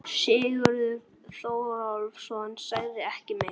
Sigurður Þórólfsson sagði ekki meira.